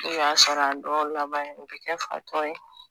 I y'a sɔrɔ a dɔw laban u bɛ kɛ fatɔ ye